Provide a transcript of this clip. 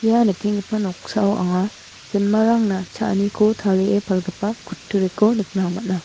ia nikenggipa noksao anga jinmarangna cha·aniko tarie palgipa kutturiko nikna man·a.